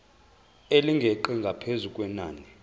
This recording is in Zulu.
elingeqi ngaphezu kwenani